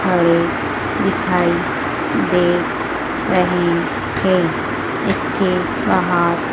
खड़े दिखाई दे रही हैं इसके बाहर--